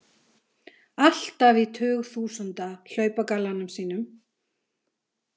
Alltaf í tugþúsunda hlaupagallanum sínum.